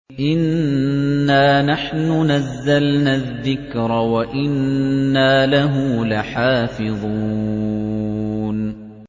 إِنَّا نَحْنُ نَزَّلْنَا الذِّكْرَ وَإِنَّا لَهُ لَحَافِظُونَ